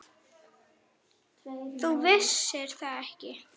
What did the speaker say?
Þú vissir það ekki.